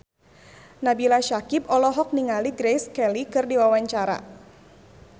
Nabila Syakieb olohok ningali Grace Kelly keur diwawancara